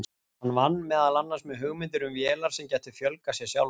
Hann vann meðal annars með hugmyndir um vélar sem gætu fjölgað sér sjálfar.